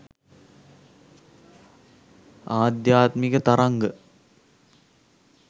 ආධ්‍යාත්මික තරංග